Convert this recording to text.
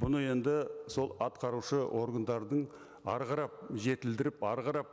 бұны енді сол атқарушы органдардың әрі қарап жетілдіріп әрі қарап